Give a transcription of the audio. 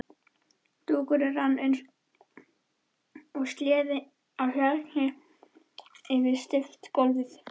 Dúkurinn rann eins og sleði á hjarni yfir steypt gólfið.